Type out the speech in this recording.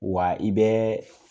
Wa i bɛ